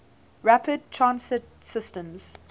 rapid transit systems